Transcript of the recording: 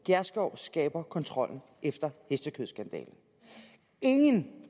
gjerskov skærper kontrollen efter hestekødsskandalen ingen